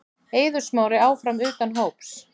Eiður Smári áfram utan hóps